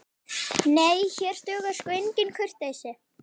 Nei, hér dugar sko engin kurteisi.